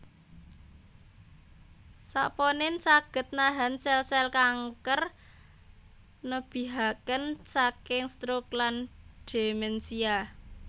Saponin saged nahan sèl sèl kanker nebihaken saking stroke lan demensia